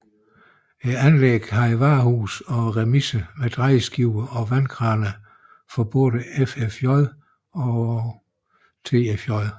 Anlægget havde varehuse og remiser med drejeskiver og vandkraner for såvel FFJ som TFJ